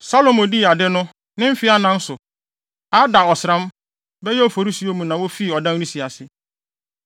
Salomo dii ade no, ne mfe anan so, Adar ɔsram (bɛyɛ Oforisuo) mu, na wofii ɔdan no si ase.